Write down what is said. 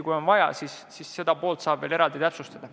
Kui on vaja, siis seda poolt saab kindlasti veel eraldi täpsustada.